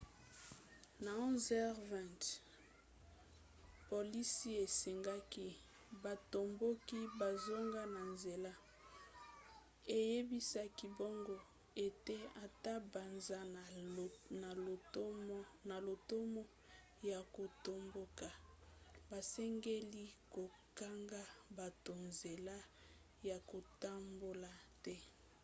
na 11:20 polisi esengaki batomboki bazonga na nzela eyebisaki bango ete ata baza na lotomo ya kotomboka basengeli kokanga bato nzela ya kotambola te